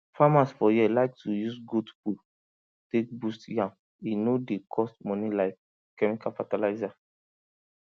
farmers for here like to use goat poo take boost yam e no dey cost money like chemical fertilizer